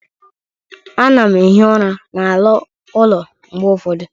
Ana m ehi ụra n'ala ụlọ mgbe ụfọdụ